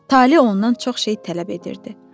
Tale ondan çox şey tələb edirdi.